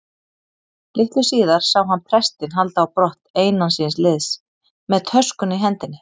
Litlu síðar sá hann prestinn halda á brott einan síns liðs með töskuna í hendinni.